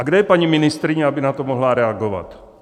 A kde je paní ministryně, aby na to mohla reagovat?